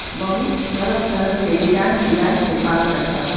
बहुत तरह-तरह के डिजाइन डिजाइन के बाल कटबावे।